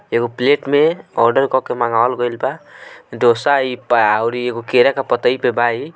एगो प्लेट में ओदर करके मंगावे गईल बा डोसा एगो